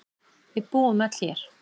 Við búum öll hér.